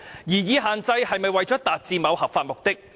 擬議限制是否為了達致某合法目的？